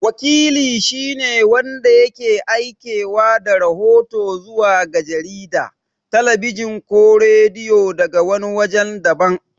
Wakili shi ne wanda yake aikewa da rahoto zuwa ga jarida, talabijin ko rediyo daga wani wajen daban.